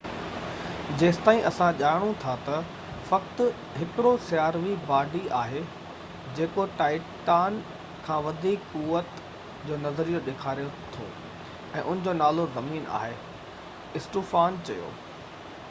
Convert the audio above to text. جيستائين اسان ڄاڻون ٿا ته فقط هڪڙو سياروي باڊي آهي جيڪو ٽائٽان کان وڌيڪ قوعت جونظريو ڏيکاري ٿو ۽ ان جو نالو زمين آهي اسٽوفان چيو